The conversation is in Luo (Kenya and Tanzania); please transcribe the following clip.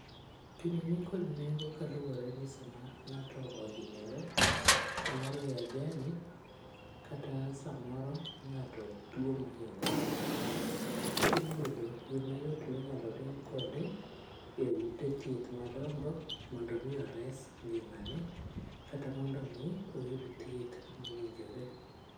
Gini nikod nengo kaluore ni sama ngato ohinyore samoro e ajali kata samoro ngato tuo mohingore matek to iyudo yoo mayot minyalo ring kode e ute thieth madongo mondo mi ores ngimane kata mondo mi oyud thieth mowinjore